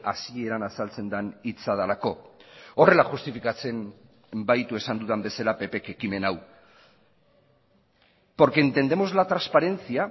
hasieran azaltzen den hitza delako horrela justifikatzen baitu esan dudan bezala ppk ekimen hau porque entendemos la transparencia